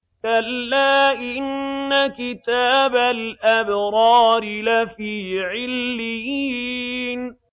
كَلَّا إِنَّ كِتَابَ الْأَبْرَارِ لَفِي عِلِّيِّينَ